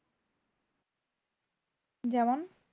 যেমন?